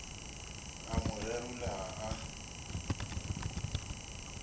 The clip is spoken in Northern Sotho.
a mo gerula ga a